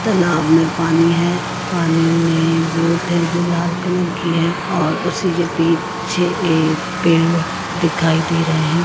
तालाब में पानी है पानी में बोट है जो लाल कलर की है और उसी के पीछे ये पेड़ दिखाई दे रहें हैं।